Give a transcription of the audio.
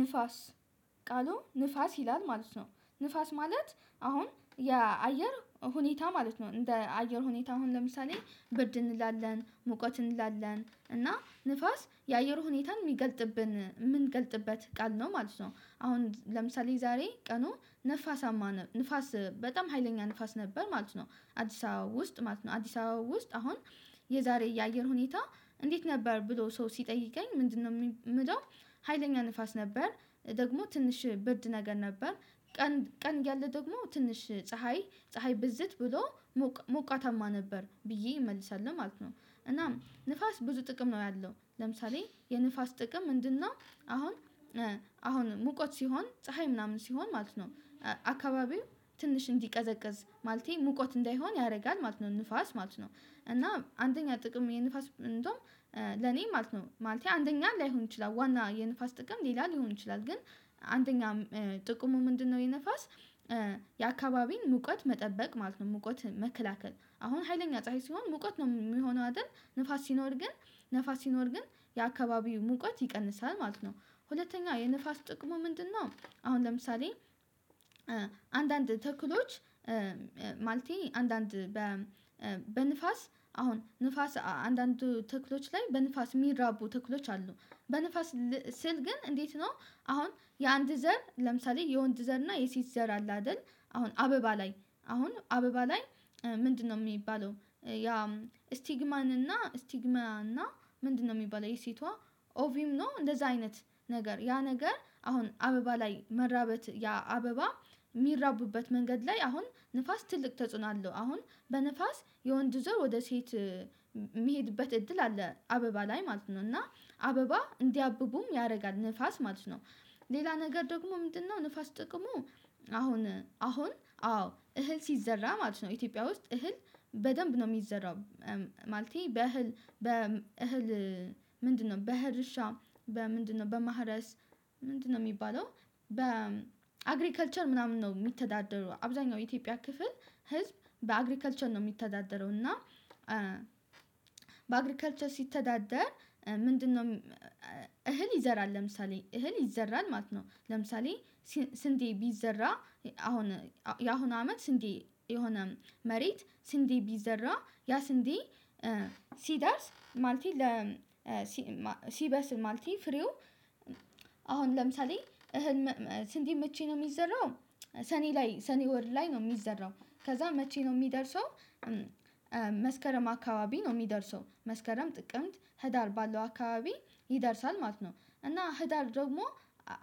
ንፋስ ቃሉ ንፋስ ይላል ማለት ነው። ንፋስ ማለት አሁን የአየር ሁኔታ ማለት ነው እንደ አየር ሁኔታ አሁን ለምሳሌ ብርድ እንላለን ሙቀት እንላለን እና ንፋስ የአየር ሁኔታን የምንገልጥበት ቃል ነው ማለት ነው። አሁን ለምሳሌ ዛሬ ቀኑ ንፋሳማ ንፋስ በጣም ሀይለኛ ንፋስ ነበር ማለት ነው አዲስ አበባ ውስጥ ማለት ነው አዲስ አበባ ውስጥ አሁን የዛሬ የአየር ሁኔታ እንዴት ነበር ብሎ ሰው ሲጠይቀኝ ምንድነው የምለው? ሀይለኛ ንፋስ ነበር ደግሞ ትንሽ ብርድ ነገር ነበር ቀን ቀን እያለ ደግሞ ትንሽ ፀሀይ ፀሀይ ብዝት ብሎ ሞቃታማ ነበር ብዬ እመልሳለሁ ማለት ነው። እናም ንፋስ ብዙ ጥቅም ነው ያለው ለምሳሌ የንፋስ ጥቅም ምንድነው? አሁን አሁን ሙቀት ሲሆን ፀሀይ ምናምን ሲሆን ማለት ነው አካባቢው ትንሽ እንዲቀዘቅዝ ማለቴ ሙቀት እንዳይሆን ያደርጋል ማለት ነው ንፋስ ማለት ነው። እና አንደኛ ጥቅም የንፋስ እንደውም ለኔ ማለት ነው ማለቴ አንደኛ ላይሆን ይችላል ዋና የንፋስ ጥቅም ሌላ ሊሆን ይችላል ግን አንደኛ ጥቅሙ ምንድነው? የንፋስ የአካባቢን ሙቀት መጠበቅ ማለት ነው። ሙቀት መከላከል አሁን ሀይለኛ ፀሀይ ሲሆን ሙቀት ነው የሚሆነው አይደል? ንፋስ ሲኖር ግን ንፋስ ሲኖር ግን የአካባቢው ሙቀት ይቀንሳል ማለት ነው። ሁለተኛ የነፋስ ጥቅሙ ምንድነው? አሁን ለምሳሌ አንዳንድ ተክሎች ማለቴ አንዳንድ በንፋስ አሁን ንፋስ አንዳንድ ተክሎች ላይ በንፋስ የሚራቡ ተክሎች አሉ በንፋስ ስል ግን እንዴት ነው? አሁን የአንድ ዘር ለምሳሌ የወንድ ዘር እና የሴት ዘር አለ አይደል? አሁን አበባ ላይ አሁን አበባ ላይ ምንድነው የሚባለው ያ ስቲግማን እና ስቲግማን እና ምንድነው የሚባለው የሴቷ ኦቪም ነው። እንደዛ አይነት ነገር ያ ነገር አሁን አበባ ላይ መራበት ያ አበባ የሚራቡበት መንገድ ላይ አሁን ንፋስ ትልቅ ተጽዕኖ አለው። አሁን በንፋስ የወንድ ዞር ወደ ሴት የሚሄድበት እድል አለ አበባ ላይ ማለት ነው እና አበባ እንዲያብቡም ያደርጋል ንፋስ ማለት ነው። ሌላ ነገር ደግሞ ምንድነው? ንፋስ ጥቅሙ አሁን አሁን አዎ እህል ሲዘራ ማለት ነው ኢትዮጵያ ውስጥ እህል በደንብ ነው የሚዘራው። ማለቴ በእህል ምንድነው? በእህል እርሻ በምንድነው በማረስ? ምንድነው የሚባለው? በአግሪከልቸር ምናምን ነው የሚተዳደረው አብዛኛው የኢትዮጵያ ክፍል ህዝብ በአግሪከልቸር ነው የሚተዳደረው። እና በአግሪካልቸር ሲተዳደር ምንድነው? እህል ይዘራል ለምሳሌ እህል ይዘራል ማለት ነው። ለምሳሌ ስንዴ ቢዘራ አሁን የአሁኑ አመት ስንዴ የሆነ መሬት ስንዴ ቢዘራ ያ ስንዴ ሲደርስ ማለቴ ሲበስል ማለቴ ፍሬው አሁን ለምሳሌ እህል ስንዴ መቼ ነው የሚዘራው? ሰኔ ላይ ሰኔ ወር ላይ ነው የሚዘራው። ከዛ መቼ ነው የሚደርሰው? መስከረም አካባቢ ነው የሚደርሰው መስከረም ጥቅምት ህዳር ባለው አካባቢ ይደርሳል ማለት ነው። እና ህዳር ደግሞ